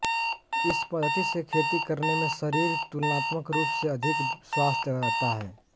इस पद्धति से खेती करने में शरिर तुलनात्मक रूपसे अधिक स्वास्थ्य रहता है